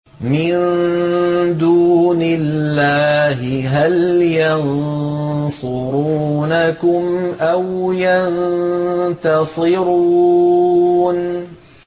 مِن دُونِ اللَّهِ هَلْ يَنصُرُونَكُمْ أَوْ يَنتَصِرُونَ